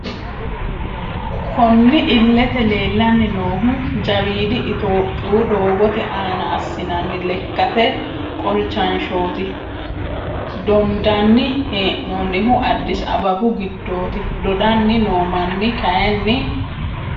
Kunni illete leelani noohu jawiidi ittoyoopiyu doogote aana assinanni lekkate qolichashshoti dondani heenonihu Addis Ababu giddoti dodani noo Mani kayiini....